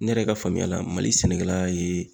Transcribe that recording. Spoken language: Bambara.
Ne yɛrɛ ka faamuya la, mali sɛnɛkɛla ye